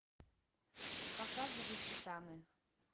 показывай титаны